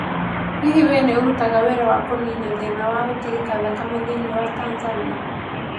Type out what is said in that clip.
Hihi wee nĩ ũraruta wĩra wa kũniina thĩna wa gũtirika thakame thĩinĩ wa Tanzania?